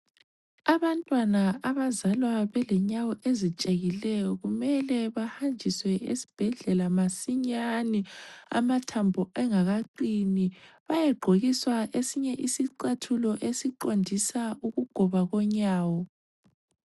Abantwana abazalwa belenyawo ezitshekileyo kumele bahanjiswe esibhedlela masinyane amathambo engakaqini bayegqokiswa esinye isicathulo esiqondisa ukugoba konyawo